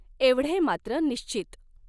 एवढे मात्र निश्चीत.